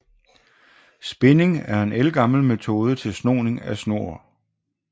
Spinding er en ældgammel metode til snoning af tråd